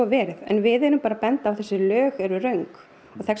verið en við erum bara að benda á þessi lög eru röng